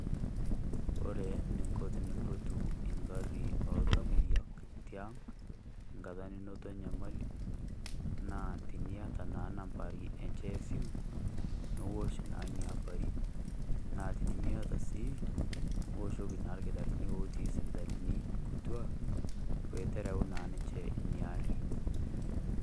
Ore nikoo tenimpotu eng'arri oltamoyiak itii ang' enkata ninoto enyamali naa tiniata naa nambai enchee e simu niosh naa nia ambai naa tinimieta sii oshoki na nkitaarani otii sipitalini kutwaa pee terau naa ninchee nia aari.